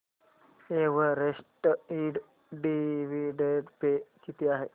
Everest Ind dividend pay किती आहे